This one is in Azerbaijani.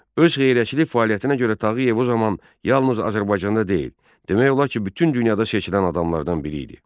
Öz xeyriyyəçilik fəaliyyətinə görə Tağıyev o zaman yalnız Azərbaycanda deyil, demək olar ki, bütün dünyada seçilən adamlardan biri idi.